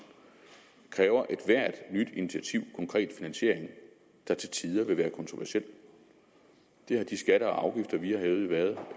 kræver ethvert nyt initiativ konkret finansiering der til tider vil være kontroversiel det har de skatter og afgifter som vi har hævet jo været